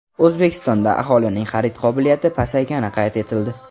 O‘zbekistonda aholining xarid qobiliyati pasaygani qayd etildi.